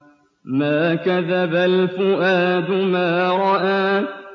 مَا كَذَبَ الْفُؤَادُ مَا رَأَىٰ